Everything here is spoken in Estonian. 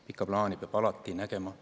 Pikka plaani peab alati nägema.